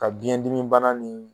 Ka biɲɛdimibana ni